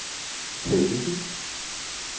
Tage Dissing